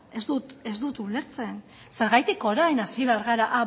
ez dut ulertzen zergatik orain hasi behar gara a